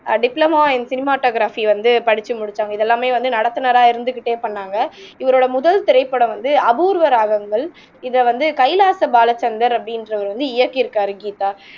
diploma in cinematography வந்து படிச்சு முடிச்சாங்க இதெல்லாமே வந்து நடத்துனரா இருந்துகிட்டே பண்ணாங்க இவரோட முதல் திரைப்படம் வந்து அபூர்வ ராகங்கள் இதை வந்து கைலாச பாலச்சந்தர் அப்படின்றவர் வந்து இயக்கி இருக்கார் கீதா